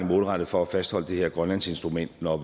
målrettet for at fastholde det her grønlandsinstrument når